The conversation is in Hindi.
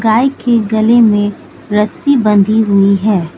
गाय के गले में रस्सी बंधी हुई है।